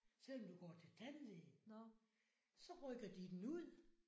Selvom du går til tandlæge så rykker de den ud